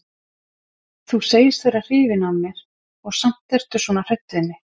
Þú segist vera hrifin af mér og samt ertu svona hrædd við mig.